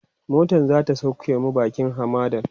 motan zata sauke mu bakin hamadan